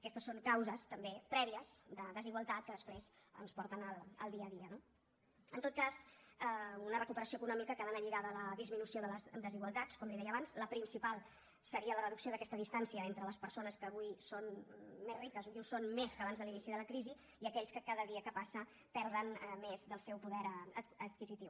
aquestes són causes també prèvies de desigualtat que després ens porten al dia a dia no en tot cas una recuperació econòmica que ha d’anar lligada a la disminució de les desigualtats com li deia abans la principal seria la reducció d’aquesta distància entre les persones que avui són més riques i ho són més que abans de l’inici de la crisi i aquells que cada dia que passa perden més del seu poder adquisitiu